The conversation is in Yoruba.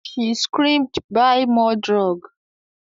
She screamed "Buy more drug"